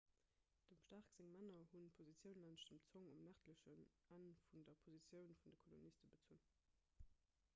dem stark seng männer hu positioun laanscht dem zonk um nërdlechen enn vun der positioun vun de koloniste bezunn